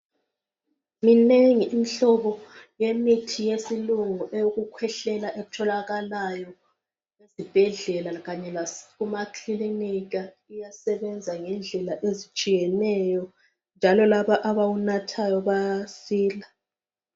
Minengi imihlobo yemithi eyesilungu eyokukhwehlela etholakalayo ezibhedlela kanye lasemakilinika iyasebenza ngendlela ezitshiyeneyo njalo labo abawunathayo bayasila.